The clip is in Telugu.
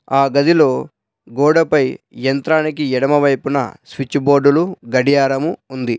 ఆ గదిలో గోడపై యంత్రానికి ఎడమ వైపున స్విచ్ బోర్డులు గడియారము ఉంది.